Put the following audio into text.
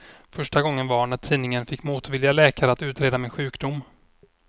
Första gången var när tidningen fick motvilliga läkare att utreda min sjukdom.